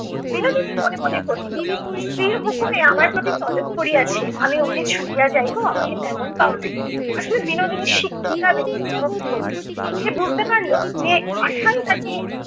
বিনোদিনী মনে মনে কহিল স্ত্রীর হুকুমে আমার প্রতি তলব পড়িয়াছে, আমি অমনি ছুটিয়া যাইব আমাকে তেমন পাও নাই। আসলে বিনোদিনী শিক্ষিতা, বিনোদিনী বুদ্ধিমতি। সে বুজতে পারল যে আশাই তাকে